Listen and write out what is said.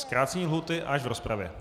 Zkrácení lhůty až v rozpravě.